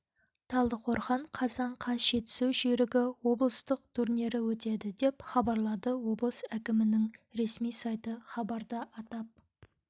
талдықорған қазан қаз жетісу жүйрігі облыстық турнирі өтеді деп хабарлады облыс әкімінің ресми сайты хабарда атап